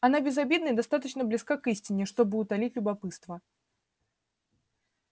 она безобидна и достаточно близка к истине чтобы утолить любопытство